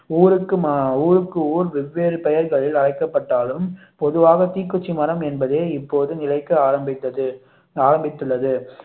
ஊருக்கு ஊர் வெவ்வேறு பெயர்கள் அழைக்கப்பட்டாலும் பொதுவாக தீக்குச்சி மரம் என்பதே இப்போது நிலைக்கு ஆரம்பித்தது ஆரம்பித்துள்ளது